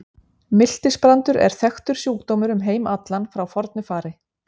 Miltisbrandur er þekktur sjúkdómur um heim allan frá fornu fari.